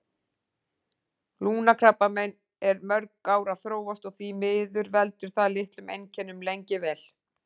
Lungnakrabbamein er mörg ár að þróast og því miður veldur það litlum einkennum lengi vel.